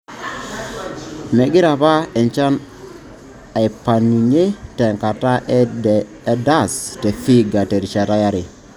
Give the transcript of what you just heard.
Megira APA enchan aipangunye tenkata e DAS te Vihiga terishata yare.